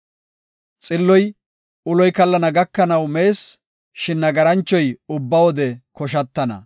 Xilloy, uloy kallana gakanaw mees; shin nagaranchoy ubba wode koshatana.